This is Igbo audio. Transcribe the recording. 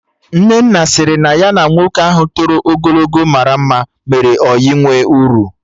Nnenna sịrị na ya na nwoke ahụ toro ogologo mara mma mere ọyị nwe uru